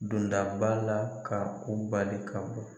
Dondaba la ka u bali ka bɔ